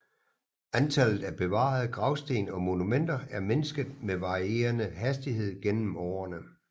Antallet af bevarede gravsten og monumenter er mindsket med varierende hastighed gennem årene